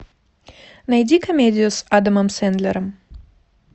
найди комедию с адамом сэндлером